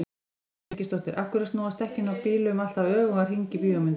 Ásdís Birgisdóttir: Af hverju snúast dekkin á bílum alltaf öfugan hring í bíómyndum?